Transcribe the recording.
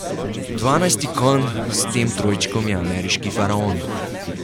Dvanajsti konj s tem trojčkom je Ameriški faraon.